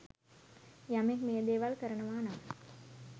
යමෙක් මේ දේවල් කරනවා නම්